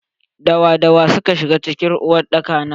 Da wa da wa suka shiga cikin uwar daka na?